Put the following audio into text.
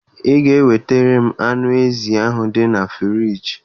Ị ga-ewetara m anụ ezi ahụ dị na friiji